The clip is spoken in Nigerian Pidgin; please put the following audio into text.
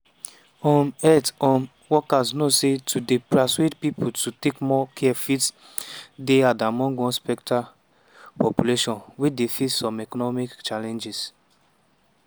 um health um workers know say to dey persuade pipo to take more care fit dey hard among one sceptical population wey dey face some economic challenges.